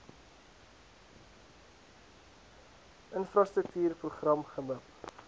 infrastruktuur program gmip